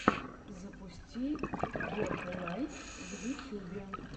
запусти гетлайт в ютьюбе